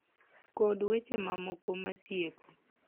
Kod weche mamoko masieko.